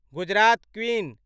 Gujarat queen